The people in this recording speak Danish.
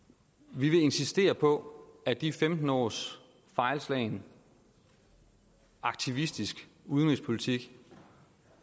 vi vil insistere på at de femten års fejlslagen aktivistisk udenrigspolitik